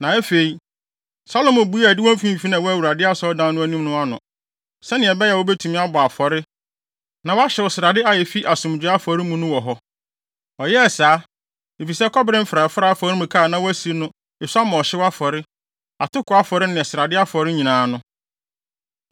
Na afei, Salomo buee adiwo mfimfini a ɛwɔ Awurade Asɔredan no anim no ano, sɛnea ɛbɛyɛ a wobetumi abɔ ɔhyew afɔre na wɔahyew srade a efi asomdwoe afɔre mu no wɔ hɔ. Ɔyɛɛ saa, efisɛ kɔbere mfrafrae afɔremuka a na wasi no esua ma ɔhyew afɔre, atoko afɔre ne srade afɔre nyinaa no.